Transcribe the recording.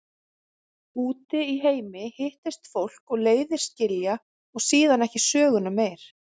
Úti í heimi hittist fólk og leiðir skilja og síðan ekki söguna meir.